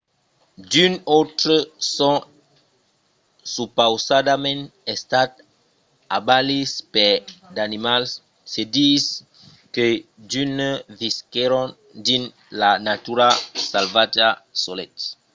d'unes autres son supausadament estats abalits per d'animals; se ditz que d'unes visquèron dins la natura salvatja solets